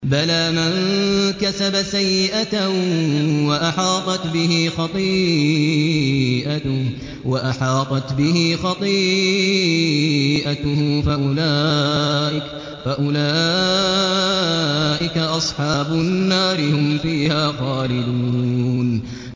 بَلَىٰ مَن كَسَبَ سَيِّئَةً وَأَحَاطَتْ بِهِ خَطِيئَتُهُ فَأُولَٰئِكَ أَصْحَابُ النَّارِ ۖ هُمْ فِيهَا خَالِدُونَ